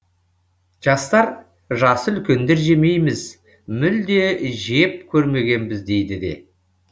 жастар жасы үлкендер жемейміз мүлде жеп көрмегенбіз дейді де